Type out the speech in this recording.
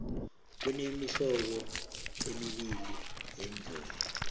kunemihlobo embili yeendlovu